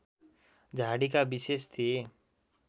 झाडीका विशेष थिए